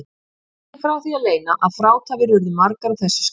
Ekki er því að leyna að frátafir urðu margar á þessu skeiði.